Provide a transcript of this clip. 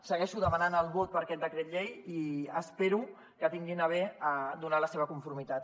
segueixo demanant el vot per a aquest decret llei i espero que tinguin a bé a donar hi la seva conformitat